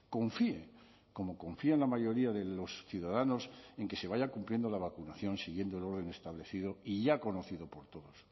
confíe como confían la mayoría de los ciudadanos en que se vaya cumpliendo la vacunación siguiendo el orden establecido y ya conocido por todos